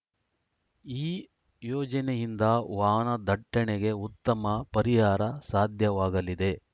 ಈ ಯೋಜನೆಯಿಂದ ವಾಹನದಟ್ಟಣೆಗೆ ಉತ್ತಮ ಪರಿಹಾರ ಸಾಧ್ಯವಾಗಲಿದೆ